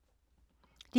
DR K